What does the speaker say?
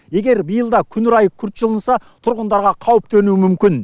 егер биыл да күн райы күрт жылынса тұрғындарға қауіп төнуі мүмкін